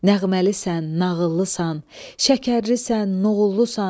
Nəğməlisən, nağıllısan, şəkərlisən, nouğullusan.